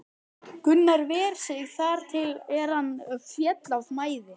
Gunnar ver sig þar til er hann féll af mæði.